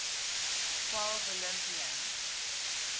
twelve olympians